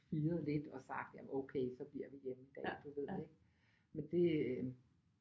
Firet lidt og sagt jamen okay så bliver vi hjemme i dag du ved men det